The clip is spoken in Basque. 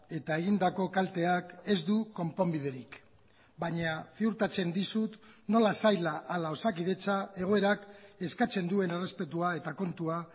eta egindako kalteak ez du konponbiderik baina ziurtatzen dizut nola saila ala osakidetza egoerak eskatzen duen errespetua eta kontua